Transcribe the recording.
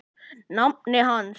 nafni hans.